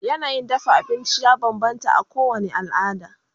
yanayin dafa abinci ya banbanta a kowani alada